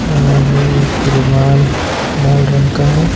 और एक रुमाल लाल रंग का है।